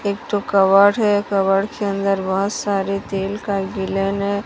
एक ठो कवर है कवर के अंदर बहोत सारे तेल का गिलन है।